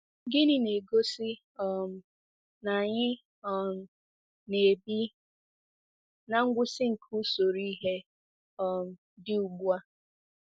Gịnị na-egosi um na anyị um na-ebi ná ngwụsị nke usoro ihe um dị ugbu a?